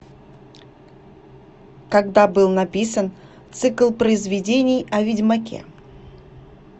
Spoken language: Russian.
когда был написан цикл произведений о ведьмаке